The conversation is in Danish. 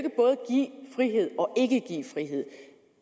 frihed og ikke give frihed